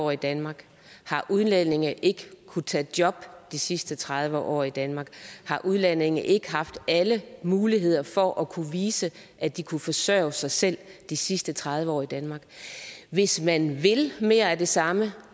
år i danmark har udlændinge ikke kunnet tage job de sidste tredive år i danmark har udlændinge ikke haft alle muligheder for at kunne vise at de kunne forsørge sig selv de sidste tredive år i danmark hvis man vil mere af det samme